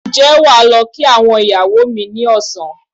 Ǹjẹ́ wà á lọ kí àwọn ìyàwó ni ní ọ̀sán?